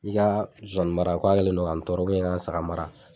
I ka zonzani mara k'a kɛlen don ka n tɔɔrɔ i ka saga mara.